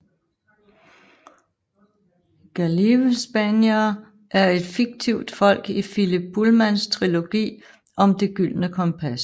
Gallivespianere er et fiktivt folk i Philip Pullmans trilogi om Det gyldne kompas